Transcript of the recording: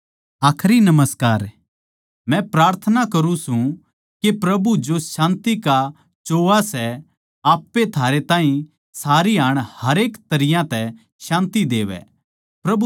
मै प्रार्थना करुँ सूं के प्रभु जो शान्ति का सोत्ता सै आप ए थारै ताहीं सारी हाण अर हरेक तरियां तै शान्ति देवै प्रभु थम सारया कै साथ रहवै